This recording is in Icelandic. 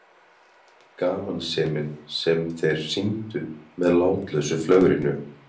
Gamansemin sem þeir sýndu með látlausu flögrinu!